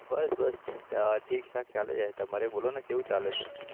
બસ બસ ઠીકઠીક ચાલે છે તમારે બોલે ને કેવું ચાલે છે